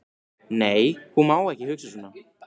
Nei, hún má ekki hugsa svona.